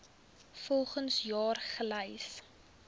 volgens jaar gelys